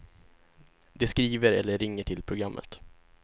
De skriver eller ringer till programmet.